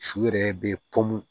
Su yɛrɛ bɛ pɔmu